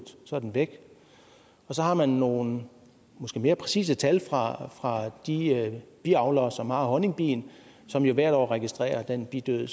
så er den væk og så har man måske nogle mere præcise tal fra de biavlere som har honningbien og som jo hvert år registrerer den bidød